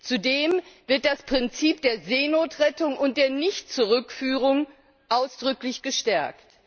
Zudem wird das Prinzip der Seenotrettung und der Nichtzurückführung ausdrücklich gestärkt.